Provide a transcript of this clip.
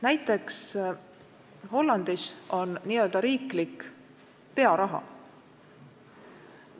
Näiteks Hollandis – me käisime seal visiidil – on n-ö riiklik pearaha.